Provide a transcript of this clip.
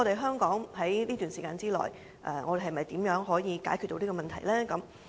香港在這段時間內，如何可以解決這個問題呢？